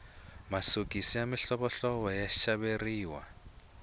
masiokisi ya mihlovohlovo ya xaveriwa